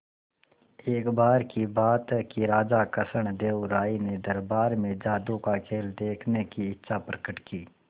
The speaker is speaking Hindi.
एक बार की बात है कि राजा कृष्णदेव राय ने दरबार में जादू का खेल देखने की इच्छा प्रकट की